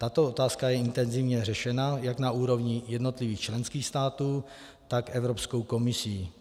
Tato otázka je intenzivně řešena jak na úrovni jednotlivých členských států, tak Evropskou komisí.